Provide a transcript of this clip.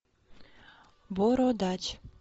бородач